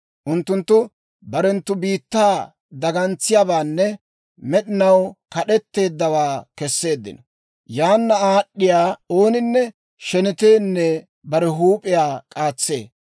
Unttunttu barenttu biittaa dagantsiyaabaanne, med'inaw kad'etteeddawaa kesseeddino. Yaana aad'd'iyaa ooninne sheneteenne bare huup'iyaa k'aatsee.